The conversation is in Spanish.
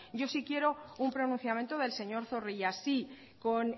yo sí quiero un pronunciamiento del señor zorrilla si con